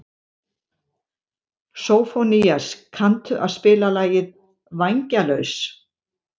Sófónías, kanntu að spila lagið „Vængjalaus“?